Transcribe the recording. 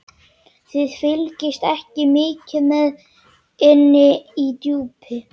Þið fylgist ekki mikið með inni í Djúpi.